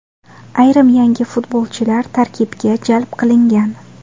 Ayrim yangi futbolchilar tarkibga jalb qilingan.